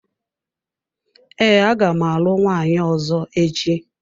Ee, aga m alụ nwaanyi ọzọ echi.